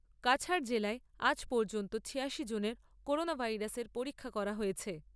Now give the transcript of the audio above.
কাছাড় জেলায় আজ পর্যন্ত ছিয়াশি জনের করোনা ভাইরাসের পরীক্ষা করা হয়েছে।